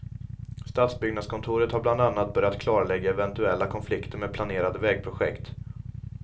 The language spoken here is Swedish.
Stadsbyggnadskontoret har bland annat börjat klarlägga eventuella konflikter med planerade vägprojekt.